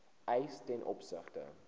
eis ten opsigte